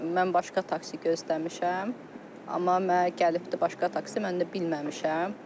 Mənim başqa taksi gözləmişəm, amma mənə gəlibdir başqa taksi, mən də bilməmişəm.